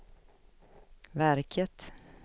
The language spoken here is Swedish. verket